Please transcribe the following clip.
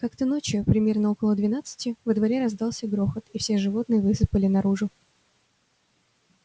как-то ночью примерно около двенадцати во дворе раздался грохот и все животные высыпали наружу